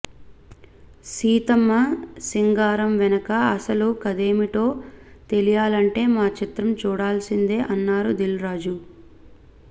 సీతమ్మ సింగారం వెనక అసలు కథేమిటో తెలియాలంటే మా చిత్రం చూడాల్సిందే అన్నారు దిల్ రాజు